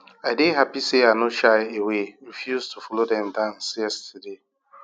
i dey happy say i no shy away refuse to follow dem dance yesterday